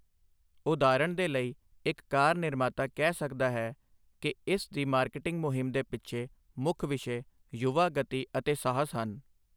ਉਦਾਹਰਣ ਦੇ ਲਈ, ਇੱਕ ਕਾਰ ਨਿਰਮਾਤਾ ਕਹਿ ਸਕਦਾ ਹੈ ਕਿ ਇਸ ਦੀ ਮਾਰਕੀਟਿੰਗ ਮੁਹਿੰਮ ਦੇ ਪਿੱਛੇ ਮੁੱਖ ਵਿਸ਼ੇ 'ਯੁਵਾ, ਗਤੀ ਅਤੇ ਸਾਹਸ' ਹਨ।